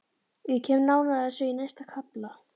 Ég kem nánar að þessu í næsta kafla.